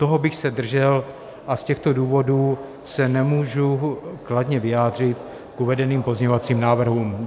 Toho bych se držel a z těchto důvodů se nemůžu kladně vyjádřit k uvedeným pozměňovacím návrhům.